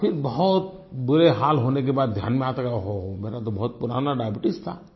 और फिर बहुत बुरे हाल होने के बाद ध्यान में आता है कि ओह हो मेरा तो बहुत पुराना डायबीट्स था